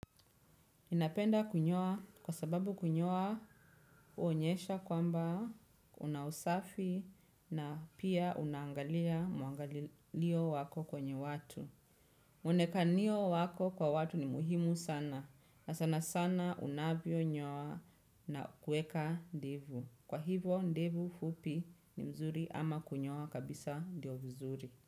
Ninapenda kunyoa kwa sababu kunyoa huonyesha kwamba una usafi, na pia unaangalia mwangalilio wako kwenye watu. Muonekano wako kwa watu ni muhimu sana unavyonyoa na kuweka ndivyo kwa hivo ndevu fupi ni nzuri ama kunyoa kabisa ndio vizuri.